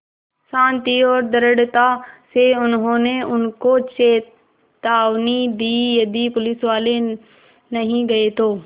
शान्ति और दृढ़ता से उन्होंने उनको चेतावनी दी यदि पुलिसवाले नहीं गए तो